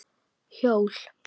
Hjól?